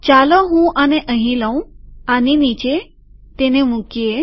ચાલો હું આને અહીં લઉંઆની નીચેતેને મુકીએ